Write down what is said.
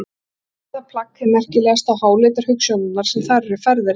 Allt er það plagg hið merkilegasta og háleitar hugsjónirnar sem þar eru færðar í letur.